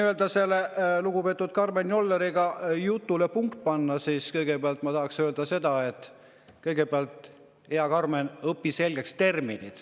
Et lugupeetud Karmen Jolleriga seotud jutule punkti panna, siis ma tahaksin öelda: hea Karmen, õpi kõigepealt terminid selgeks!